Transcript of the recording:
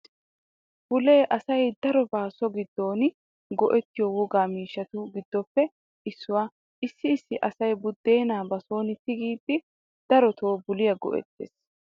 Bulee asay darobawu so giddon go'ettiyo wogaa miishshattu giddoppe issuwaa. Issi issi asay buddeena ba sooni tigiiddi daroto buliyaa go'ettees.